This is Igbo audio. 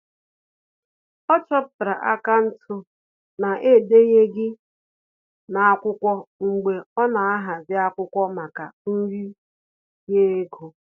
Ọ chọpụtara akaụntụ na-edenyeghi n'akwụkwọ mgbe ọ na ahazi akwụkwọ maka nri ye ego